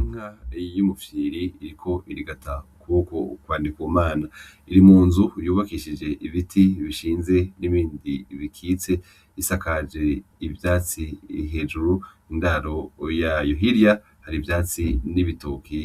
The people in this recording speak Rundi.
Inka y'umufyiri iriko irigata ukuboko kwa Ndikumana, irimunzu yubakishijwe ibiti bishinze n'ibindi bikitse ,isakaje ivyatsi hejuru indaro yayo hirya har'ivyatsi n'bitoke